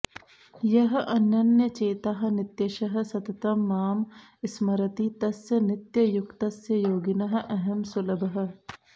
यः अनन्यचेताः नित्यशः सततं मां स्मरति तस्य नित्ययुक्तस्य योगिनः अहं सुलभः